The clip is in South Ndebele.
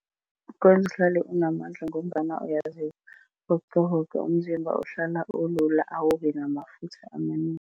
Kwenza uhlale unamandla ngombana uyazivoqavoqa, umzimba ohlala ulula, awubi namafutha amanengi.